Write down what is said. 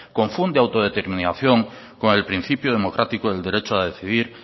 confunde autodeterminación con el principio democrático del derecho a decidir